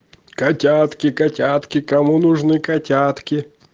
котятки котятки кому нужны котятки